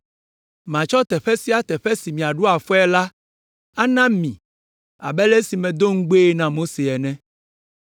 Matsɔ teƒe sia teƒe si miaɖo afɔe la ana mi abe ale si medo ŋugbee na Mose ene.